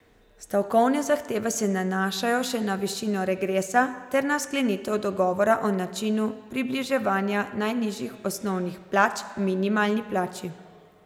Stavkovne zahteve se nanašajo še na višino regresa ter na sklenitev dogovora o načinu približevanja najnižjih osnovnih plač minimalni plači.